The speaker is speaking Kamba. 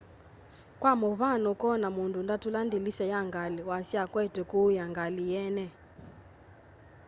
kwa mũvyano ũkona mũndũ ndatũla ndĩlĩsya ya ngalĩ wasya akwete kuya ngalĩ yeene